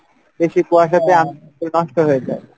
বেশি কুয়াশা তে আমের মুকুল নষ্ট হয়ে যাই।